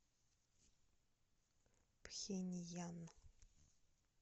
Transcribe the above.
пхеньян